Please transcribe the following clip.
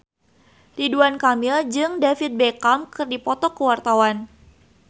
Ridwan Kamil jeung David Beckham keur dipoto ku wartawan